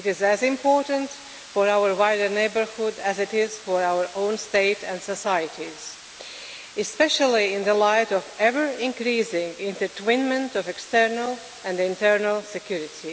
It is as important for our neighbourhood as it is for our own states and societies, especially in the light of ever closer intertwinement of external and internal security.